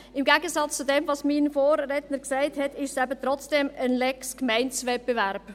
Im Gegensatz zu dem, was mein Vorredner gesagt hat, ist es eben doch eine «Lex Gemeindewettbewerb».